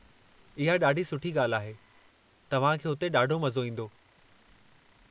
इहा ॾाढी सुठी ॻाल्हि आहे; तव्हां खे हुते ॾाढो मज़ो ईंदो।